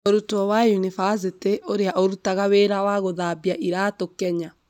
Mũrutwo wa yunibacĩtĩ ũria ũrutaga wĩra wa gũthambia iraatũ Kenya